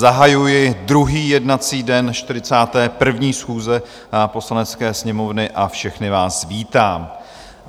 Zahajuji druhý jednací den 41. schůze Poslanecké sněmovny a všechny vás vítám.